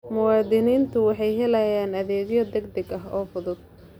Muwaaddiniintu waxay helaan adeegyo degdeg ah oo fudud.